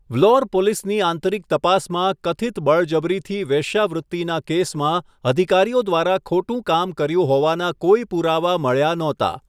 વ્લોર પોલીસની આંતરિક તપાસમાં કથિત બળજબરીથી વેશ્યાવૃત્તિના કેસમાં અધિકારીઓ દ્વારા ખોટું કામ કર્યું હોવાના કોઈ પુરાવા મળ્યા નહોતાં.